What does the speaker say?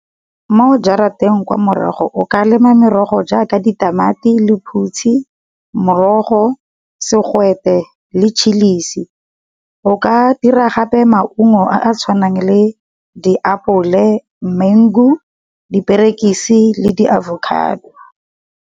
Mo jarateng kwa morago o ka lema merogo jaaka di tamati, lephutshi, morogo, segwete le chilisi. O ka dira gape maungo a a tshwanang le di apole mengu di perekisi le di avocado.